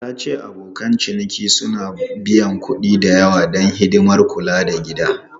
Ta ce abokan ciniki suna biyan kuɗi da yawa don hidimar kula da gida.